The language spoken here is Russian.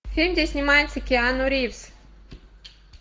фильм где снимается киану ривз